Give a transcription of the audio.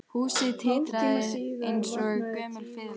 Húsið titraði eins og gömul fiðla